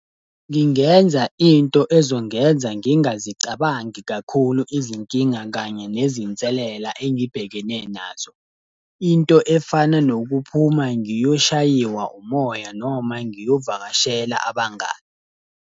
Ngingenza into ezongenza ngingazicabangi kakhulu izinkinga, kanye nezinselela engibhekene nazo. Into efana nokuphuma ngiyoshayiwa umoya noma ngiyovakashela abangani.